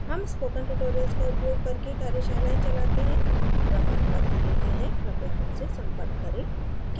हम spoken tutorials का उपयोग करके कार्यशालाएं चलाते हैं प्रमाणपत्र देते हैं कृपया हमसे संपर्क करें